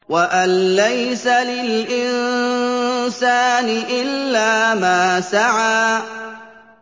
وَأَن لَّيْسَ لِلْإِنسَانِ إِلَّا مَا سَعَىٰ